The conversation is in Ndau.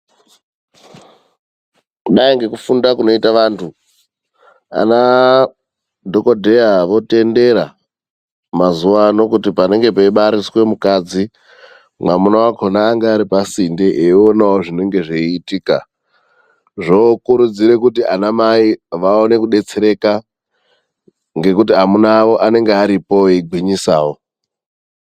Kudai ngekufunda kuneita vantu ana dhokoteya mazuva ano otendera kuti panenge pachibariswe mukadzi murume wacho anenge ari padhuze achionawo zvinenge zvichiitika okurudzira kuti ana mai vaone kudetsereka ngekuti varume avo anenge aripo eigwinyisawo.